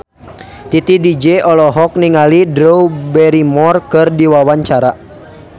Titi DJ olohok ningali Drew Barrymore keur diwawancara